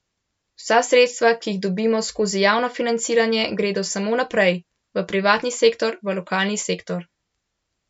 Vsa sredstva, ki jih dobimo skozi javno financiranje, gredo samo naprej, v privatni sektor, v lokalni sektor.